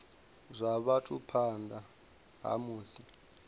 zwa vhathu phanḓa ha musi